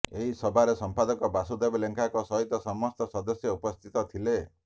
ଏହି ସଭାରେ ସମ୍ପାଦକ ବାସୁଦେବ ଲେଙ୍କାଙ୍କ ସହିତ ସମସ୍ତ ସଦସ୍ୟ ଉପସ୍ଥିତ ଥିଲେ